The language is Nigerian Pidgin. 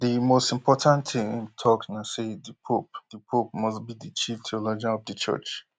di most important thing im tok na say di pope di pope must be di chief theologian of di church